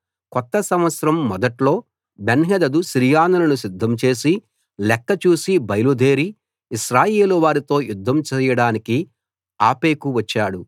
కొత్త సంవత్సరం మొదట్లో బెన్హదదు సిరియనులను సిద్ధం చేసి లెక్క చూసి బయలుదేరి ఇశ్రాయేలువారితో యుద్ధం చేయడానికి ఆఫెకు వచ్చాడు